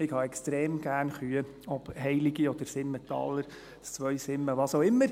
Ich mag Kühe extrem gerne, ob heilige oder Simmentaler in Zweisimmen, was auch immer.